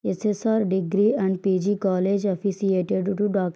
స్సర్ degree and PG college affiliated to --